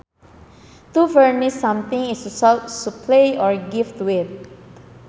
To furnish something is to supply or give to it